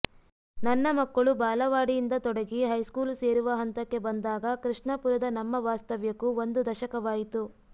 ನನ್ನ ಮಕ್ಕಳು ಬಾಲವಾಡಿಯಿಂದ ತೊಡಗಿ ಹೈಸ್ಕೂಲು ಸೇರುವ ಹಂತಕ್ಕೆ ಬಂದಾಗ ಕೃಷ್ಣಾಪುರದ ನಮ್ಮ ವಾಸ್ತವ್ಯಕ್ಕೂ ಒಂದು ದಶಕವಾಯಿತು